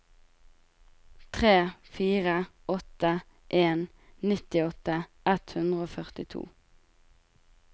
tre fire åtte en nittiåtte ett hundre og førtito